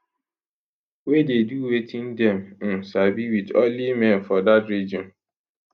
wey dey do wetin dem um sabi wit only men for dat region